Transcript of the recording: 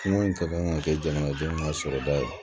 jamana sɔrɔda ye